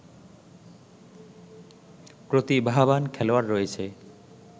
প্রতিভাবান খেলোয়াড় রয়েছে